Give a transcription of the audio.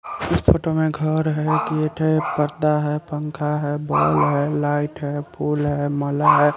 इस फोटो में घर है गेट है गद्दा है पंखा है बॉल है लाइट है फूल है माला है।